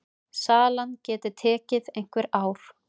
Salan geti tekið einhver ár.